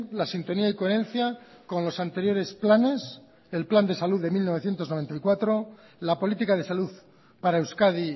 la sintonía y coherencia con los anteriores planes el plan de salud de mil novecientos noventa y cuatro la política de salud para euskadi